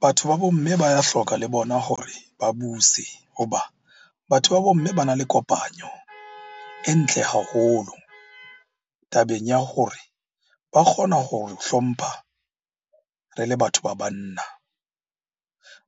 Batho ba bo mme ba hloka le bona hore ba buse hoba batho ba bo mme ba na le kopanyo e ntle haholo tabeng ya hore ba kgona hore hlompha re le batho ba banna.